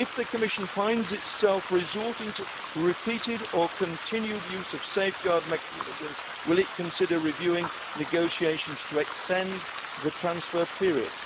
If the Commission finds itself resorting to repeated or continued use of this safeguard mechanism, will it consider reviewing negotiations to extend the transfer period?